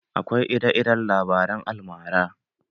Akwai ire-iren labaren almara.